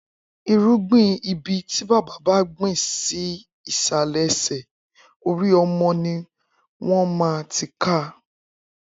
Irúgbin ibi ti bàbá bá gbin si isàlẹ́ ẹsẹ, óri ọmọ niwọn maá ti ká